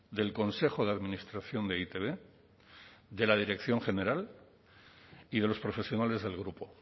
del consejo de administración de e i te be de la dirección general y de los profesionales del grupo